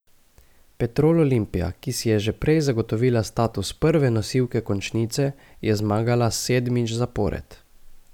Petrol Olimpija, ki si je že prej zagotovila status prve nosilke končnice, je zmagala sedmič zapored.